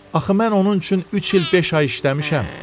Axı mən onun üçün üç il beş ay işləmişəm.